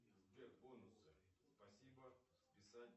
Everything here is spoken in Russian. сбер бонусы спасибо списать